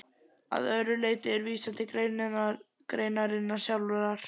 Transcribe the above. Að öðru leyti er vísað til greinarinnar sjálfrar.